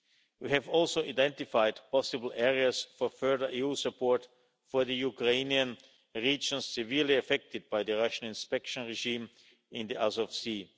unity. We have also identified possible areas for further EU support for the Ukrainian regions severely affected by the Russian inspection regime in the Azov